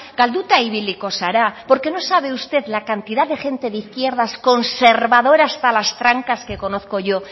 galduta ibiliko zara porque no sabe usted la cantidad de gente de izquierdas conservadora hasta las trancas que conozco yo